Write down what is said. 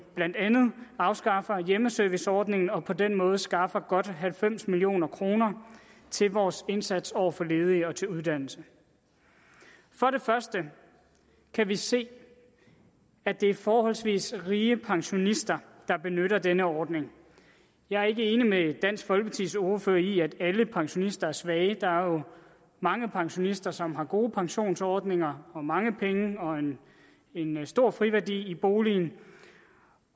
blandt andet afskaffer hjemmeserviceordningen og på den måde skaffer godt halvfems million kroner til vores indsats over for ledige og til uddannelse for det første kan vi se at det er forholdsvis rige pensionister der benytter denne ordning jeg er ikke enig med dansk folkepartis ordfører i at alle pensionister er svage der er jo mange pensionister som har gode pensionsordninger og mange penge og en stor friværdi i boligen